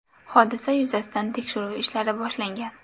Hodisa yuzasidan tekshiruv ishlari boshlangan.